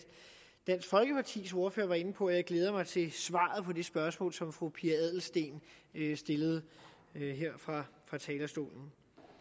dansk folkepartis ordfører var inde på og jeg glæder mig til at på det spørgsmål som fru pia adelsteen stillede her fra talerstolen